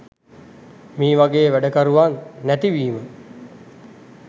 මේවගේ වැඩකරුවන් නැතිවීම.